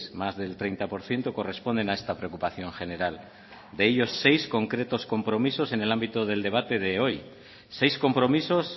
más del treinta por ciento corresponden a esta preocupación general de ellos seis concretos compromisos en el ámbito del debate de hoy seis compromisos